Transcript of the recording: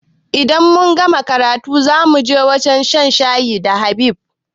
Idan mun gama karatu zamuje wajan shan shayi da Habib